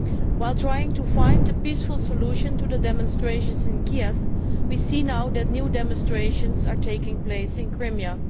While trying to find a peaceful solution to the demonstrations in Kiev, we see now that new demonstrations are taking place in Crimea.